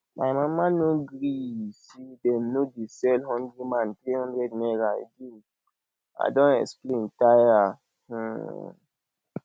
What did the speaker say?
my mama no gree say dem no dey sell hungry man three hundred naira again i don explain tire um